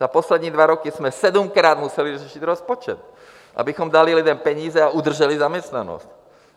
Za poslední dva roky jsme sedmkrát museli řešit rozpočet, abychom dali lidem peníze a udrželi zaměstnanost.